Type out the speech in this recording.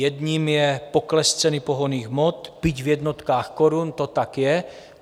Jedním je pokles ceny pohonných hmot, byť v jednotkách korun, to tak je.